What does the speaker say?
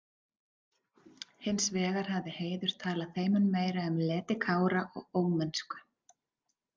Hins vegar hafði Heiður talað þeim mun meira um leti Kára og ómennsku.